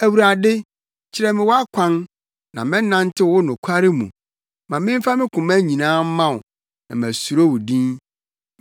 Awurade, kyerɛ me wʼakwan, na mɛnantew wo nokware mu; ma memfa me koma nyinaa mma wo na masuro wo din.